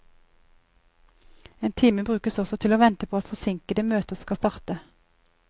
En time brukes også til å vente på at forsinkede møter skal starte.